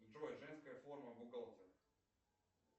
джой женская форма бухгалтера